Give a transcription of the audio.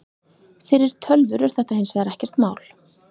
Fyrir tölvur er þetta hins vegar ekkert mál.